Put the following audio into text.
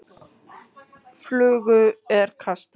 Flugu er kastað.